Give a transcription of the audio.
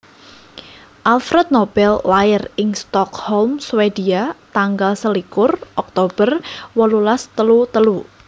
Alfred Nobel lair ing Stockholm Swedia tanggal selikur Oktober wolulas telu telu